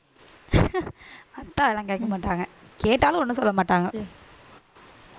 அத்தை எல்லாம் கேட்க மாட்டாங்க கேட்டாலும் ஒண்ணும் சொல்ல மாட்டாங்க